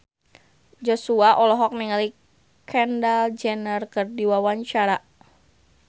Joshua olohok ningali Kendall Jenner keur diwawancara